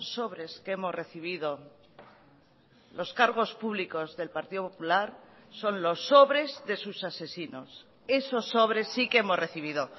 sobres que hemos recibido los cargos públicos del partido popular son los sobres de sus asesinos esos sobres sí que hemos recibido